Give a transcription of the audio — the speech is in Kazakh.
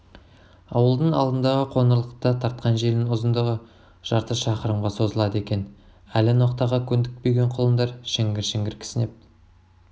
ауылдың алдындағы қоңырлықта тартқан желінің ұзындығы жарты шақырымға созылады екен әлі ноқтаға көндікпеген құлындар шіңгір-шіңгір кісінеп